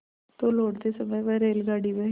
तो लौटते समय वह रेलगाडी में